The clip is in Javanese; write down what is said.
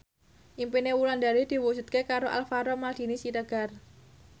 impine Wulandari diwujudke karo Alvaro Maldini Siregar